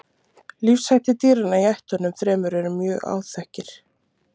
Lífshættir dýranna í ættunum þremur eru mjög áþekkir.